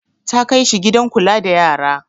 Ta kai shi gidan kula da yara.